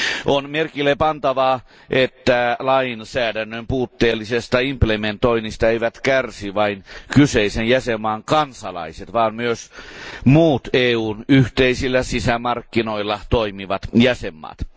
On merkillepantavaa, että lainsäädännön puutteellisesta täytäntöönpanosta eivät kärsi vain kyseisen jäsenvaltion kansalaiset, vaan myös muut EUn yhteisillä sisämarkkinoilla toimivat jäsenvaltiot.